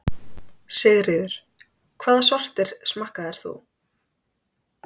Sigríður: Hvaða sortir smakkaðir þú?